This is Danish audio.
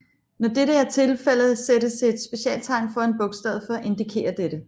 Når dette er tilfældet sættes et specialtegn foran bogstavet for at indikere dette